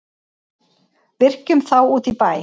Víkjum þá út í bæ.